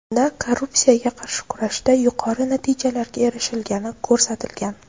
Unda korrupsiyaga qarshi kurashda yuqori natijalarga erishilgani ko‘rsatilgan.